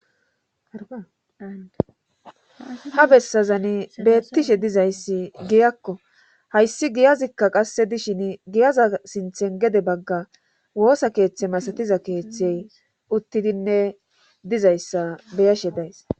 ha bessazani beettishe dizayssi giyakko hayssi giyazikka qasse dishin giyaza sinthen gede bagga woosa keeththe masatiza keeththey uttidinne dizayssa beyashe days